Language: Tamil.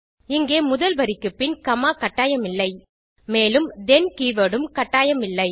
இங்கே முதல் வரிக்குப்பின் உள்ள காமா கட்டாயமில்லை மேலும் தேன் கீவர்ட் உம் கட்டாயமில்லை